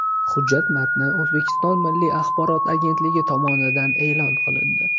Hujjat matni O‘zbekiston Milliy axborot agentligi tomonidan e’lon qilindi .